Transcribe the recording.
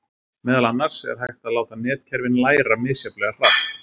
Meðal annars er hægt að láta netkerfin læra misjafnlega hratt.